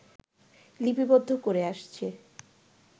লিপিবদ্ধ করে আসছে